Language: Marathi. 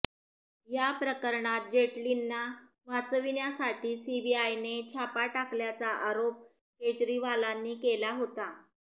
याप्रकरणात जेटलींना वाचविण्यासाठी सीबीआयने छापा टाकल्याचा आरोप केजरीवालांनी केला होता